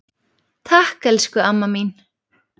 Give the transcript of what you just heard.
Takk, elsku amma mín.